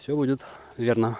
всё будет верно